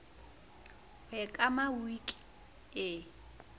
ho e kama wiki e